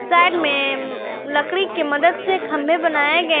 side में लकड़ी की मदद से खंभे बनाये गये--